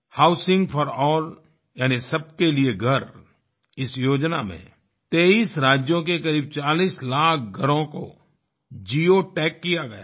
housing for all यानि सबके लिए घर इस योजना में 23 राज्यों के करीब 40 लाख घरों को जिओटैग किया गया है